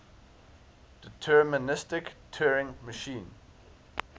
deterministic turing machine